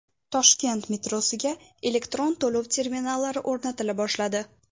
Toshkent metrosiga elektron to‘lov terminallari o‘rnatila boshladi.